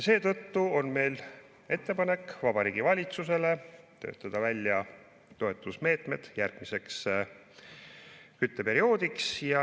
Seetõttu on meil Vabariigi Valitsusele ettepanek töötada välja toetusmeetmed järgmiseks kütteperioodiks.